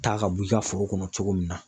Ta ka bɔ i ka foro kɔnɔ cogo min na.